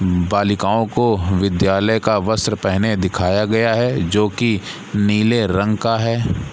बालिकाओं को विद्यालय का वस्त्र पहने दिखाया गया है जो की नीले रंग का है।